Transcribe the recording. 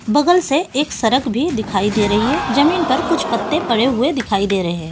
बगल से एक सड़क भी दिखाई दे रही है जमीन पर कुछ पत्ते पड़े हुए दिखाई दे रहे हैं।